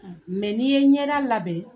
Mɛ n'i ye ɲɛda labɛn.